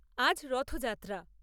আজ রথযাত্রা।